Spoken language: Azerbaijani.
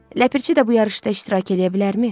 Ləpirçi də bu yarışda iştirak eləyə bilərmi?